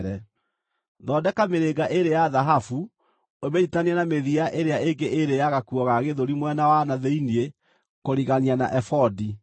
Thondeka mĩrĩnga ĩĩrĩ ya thahabu ũmĩnyiitithanie na mĩthia ĩrĩa ĩngĩ ĩĩrĩ ya gakuo ga gĩthũri mwena wa na thĩinĩ kũrigania na ebodi.